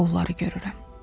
Onları görürəm.